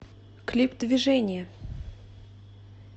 клип движения